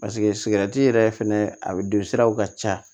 paseke sigɛrɛti yɛrɛ fɛnɛ a don siraw ka ca